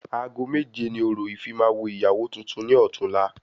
Aago méje ni orò ìfimawo ìyàwó tuntun ni ọtún la